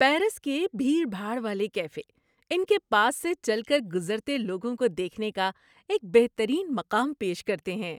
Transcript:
Paris کے بھیڑ بھاڑ والے کیفے ان کے پاس سے چل کر گزرتے لوگوں کو دیکھنے کا ایک بہترین مقام پیش کرتے ہیں۔